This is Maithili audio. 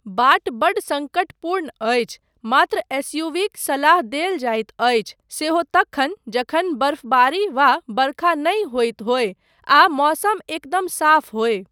बाट बड्ड सङ्कटपूर्ण अछि, मात्र एसयूवीक सलाह देल जाइत अछि सेहो तखन जखन बर्फबारी वा बरखा नहि होइत होय आ मौसम एकदम साफ होय।